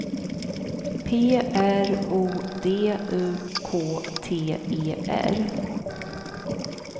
P R O D U K T E R